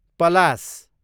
पलास